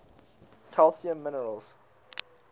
calcium minerals